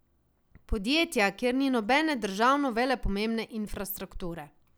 Podjetja, kjer ni nobene državno velepomembne infrastrukture.